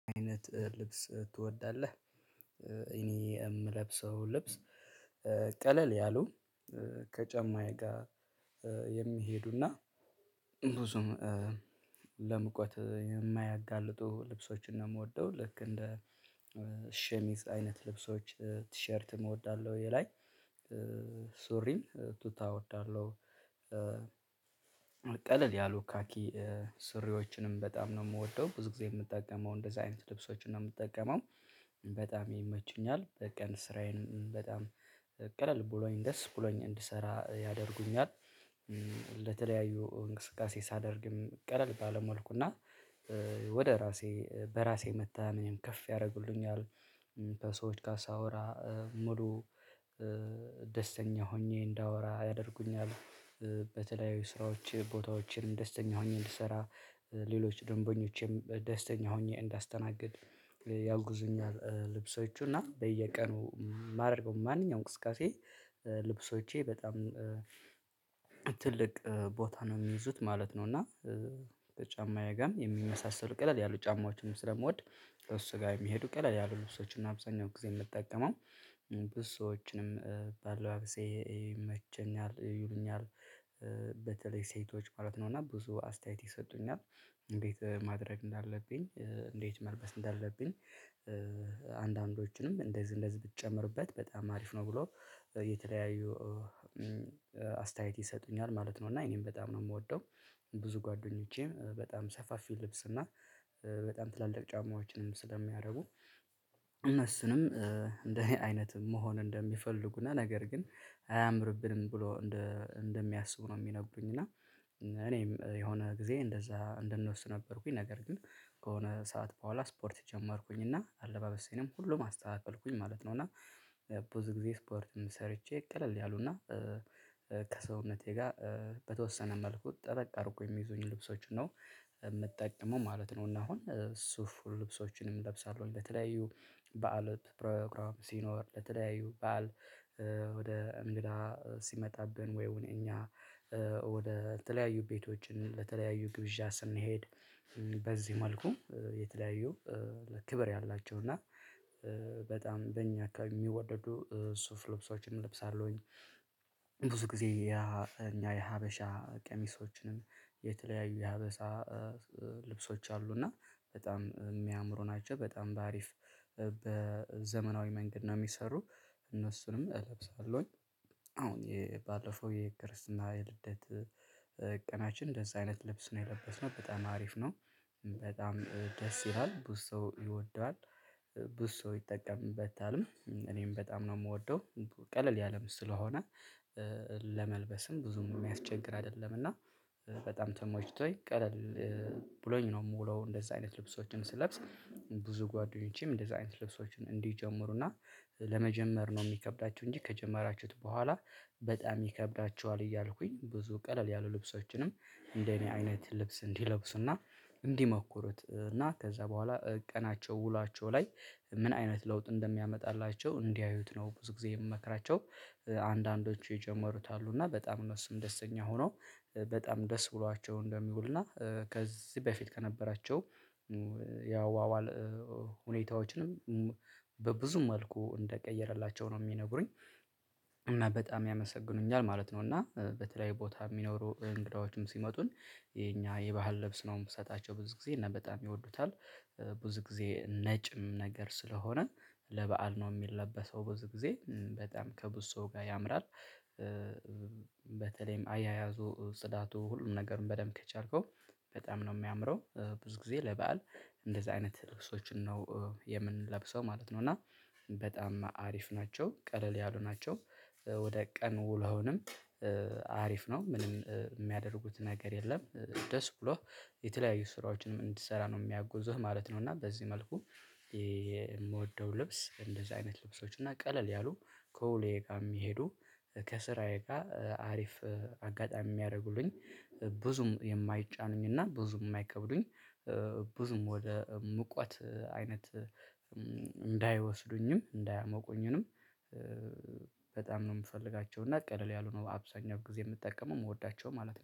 "አይነት ልብስ ትወዳለህ?" እኔ የምለብሰው ልብስ ቀለል ያሉ ከጫማዬ ጋር የሚሄዱና ብዙም ለሙቀት የማያጋልጡ ልብሶችን ነው የምወደው። ልክ እንደ ሸሚዝ አይነት ልብሶች፣ ቲሸርትም እወዳለሁ የላይ፣ ሱሪን ቱታ እወዳለሁ፣ ቀለል ያሉ ካኪ ስሪዎችንም በጣም ነው የምወደው፣ ብዙ ጊዜ የምጠቀመው እንደዚህ አይነት ልብሶችን ነው የምጠቀመው። በጣም ይመቹኛል በቀን ስራዬን በጣም ቀለል ብሎኝ ደስ ብሎኝ እንድሰራ ያደርጉኛል። ለተለያዩ እንቅስቃሴ ሳደርግም ቀለል ባለ መልኩና ወደ ራሴ በራሴ መተማመኔንም ከፍ ያደርጉልኛል። ከሰዎች ጋር ሳወራ ሙሉ ደስተኛ ሆኜ እንዳወራ ያደርጉኛል። በተለያዩ ስራዎች ቦታዎችን ደስተኛ ሆኜ እንድሰራ ሌሎች ደንበኞቼም ደስተኛ ሆኜ እንዳስተናግድ ያግዙኛል ልብሶቹ እና በየቀኑ የማደርገው ማንኛውም እንቅስቃሴ ልብሶቼ በጣም ትልቅ ቦታ ነው የሚይዙት ማለት ነው፤ እና ጫማዬጋም የሚመሳሰል ቀለል ያሉ ጫማዎችንም ስለምወድ ከእሱ ጋር የሚሄዱ ቀለል ያሉ ልብሶችን ነው አብዛኛው ጊዜ የምጠቀመው። ብዙ ሰዎችንም ባለባበሴ ይመቸኛል ይሉኛል። በተለይ ሴቶች ማለት ነው እና ብዙ አስተያየት ይሰጡኛል እንዴት ማድረግ እንዳለብኝ እንዴት መልበስ እንዳለብኝ አንዳንዶችንም እንደዚህ እንደዚህ ብትጨምርበት በጣም አሪፍ ነው ብለው የተለያዩ አስተያየት ይሰጡኛል ማለት ነው፤ እና እኔም በጣም ነው የምወደው። ብዙ ጓደኞቼም በጣም ሰፋፊ ልብስ እና በጣም ትላልቅ ጫማዎችንም ስለሚያደርጉ እነሱንም እንደኔ አይነት መሆን እንደሚፈልጉ እና ነገር ግን አያምርብንም ብለው እንደ እንደሚያስቡ ነው የሚነግሩኝ እና እኔም የሆነ ግዜ እንደዛ እንደነሱ ነበርኩኝ ነገር ግን ክሆነ ሰዓት በኋላ ስፖርት ጀመርኩኝ እና አለባበሴንም ሁሉንም አስተካከልኩኝ ማለት ነው እና ብዙ ጊዜ ስፖርትም ሰርቼ ቀለል ያሉና ከሰውነቴ ጋር በተወሰነ መልኩ ጠበቅ አድርገው የሚይዙኝ ልብሶችን ነው የምጠቀመው ማለት ነው እና አሁን ሱፍ ልብሶችንም እለብሳለሁኝ ለተለያዩ በዓል ፕሮግራም ሲኖር ለተለያዩ በዓል ወደ እንግዳ ሲመጣብን ወይም እኛ ወደ ተለያዩ ቤቶችን ለተለያዩ ግብዣ ስንሄድ በዚህ መልኩ የተለያዩ ለ ክብር ያላቸው እና በጣም በእኛ አካባቢ የሚወደዱ ሱፍ ልብሶችንም እለብሳለሁኝ። ብዙ ጊዜ የኛ የሀበሻ ቀሚሶችንም የተለያዩ የሀበሻ ልብሶች አሉ እና በጣም የሚያምሩ ናቸው በጣም በአሪፍ በዘመናዊ መንገድ ነው የሚሰሩ እነሱንም እለብሳለሁኝ። አሁን የባለፈው የክርስትና የልደት ቀናችን እንደዛ አይነት ልብስ ነው የለበስነው በጣም አሪፍ ነው። በጣም ደስ ይላል ብዙ ሰው ይወደዋል ብዙ ሰው ይጠቀምበታልም እኔም በጣም ነው የምወደው ቀለል ያለም ስለሆነ ለመል ብዙም የሚያስቸግር አይደለም እና በጣም ተመችቶኝ ቀለል ብሎኝ ነው የምውለው እንደዛ አይነት ልብሶችን ስለብስ ብዙ ጓደኞቼም እንደዛ አይነት ልብሶችን እንዲጀምሩና ለመጀመር ነው የሚከብዳችሁ እንጂ ከጀመራችሁት በኋላ በጣም ይከብዳችኋል እያልኩኝ ብዙ ቀለል ያሉ ልብሶችንም እንደኔ አይነት ልብስ እንዲለብሱና እንዲሞኩሩት እና ከዛ በኋላ ቀናቸው ውሏቸው ላይ ምን አይነት ለውጥ እንደሚያመጣላቸው እንዲያዩት ነው ብዙ ጊዜ የምመክራቸው። አንዳንዶቹ የጀመሩት አሉ እና በጣም እነሱም ደስተኛ ሆነው በጣም ደስ ብሏቸው እንደሚውል እና ከዚህ በፊት ከነበራቸው ያአዋዋል ሁኔታዎችንም በብዙ መልኩ እንደቀየረላቸው ነው የሚነግሩኝ። እና በጣም ያመሰግኑኛል ማለት ነው፤ እና በተለያዩ ቦታ የሚኖሩ እንግዳዎችም ሲመጡን የኛ የባህል ልብስ ነው የምሰጣቸው ብዙ ጊዜ እና በጣም ይወዱታል። ብዙ ጊዜ ነጭም ነገር ስለሆነ ለበአል ነው የሚለበሰው ብዙ ጊዜ በጣም ከብዙ ሰው ጋር ያምራል። በተለይም አያያዙ ጽዳቱ ሁሉም ነገርን በደንብ ከቻልከው በጣም ነው የሚያምረው። ብዙ ጊዜ ለበአል እንደዚህ አይነት ልብሶችን ነው የምንለብሰው ማለት ነው፤ እና በጣም አሪፍ ናቸው፣ ቀለል ያሉ ናቸው፣ ወደ ቀን ውሎህንም አሪፍ ነው ምንም የሚያደርጉት ነገር የለም ደስ ብሎህ የተለያዩ ስራዎችንም እንድትሰራ ነው የሚያግዙህ ማለት ነው እና በዚህ መልኩ የምወ ልብስ እንደዚህ አይነት ልብሶች እና ቀለል ያሉ ከውሎዬ ጋር የሚሄዱ ከስራዬ ጋር አሪፍ አጋጣሚ የሚያደርጉልኝ ብዙም የማይጫኑኝ እና ብዙም የማይከብዱኝ ብዙም ወደ ሙቀት አይነት እንዳይወስዱኝም እንዳያሞቁኝንም በጣም ነው የምፈልጋቸው እና ቀለል ያሉ ነው አብዛኛው ጊዜ የምጠቀመው የምወዳቸው ማለት ነው።